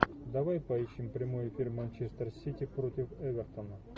давай поищем прямой эфир манчестер сити против эвертона